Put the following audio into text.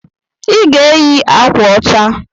I ga-eyi akwa ọcha!